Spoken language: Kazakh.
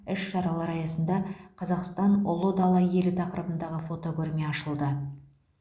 іс шаралар аясында қазақстан ұлы дала елі тақырыбындағы фотокөрме ашылды